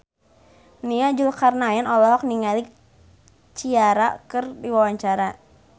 Nia Zulkarnaen olohok ningali Ciara keur diwawancara